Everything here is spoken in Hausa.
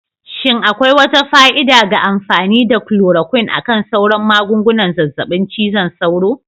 Shin akwai wata fa'ida ga amfani da chloroquine akan sauran magungunan zazzaɓin cizon sauro?